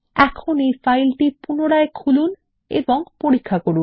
এখন এই ফাইলটি পুনরায় খুলুন এবং পরীক্ষা করুন